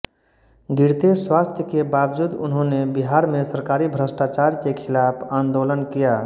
गिरते स्वास्थ्य के बावजूद उन्होंने बिहार में सरकारी भ्रष्टाचार के खिलाफ आन्दोलन किया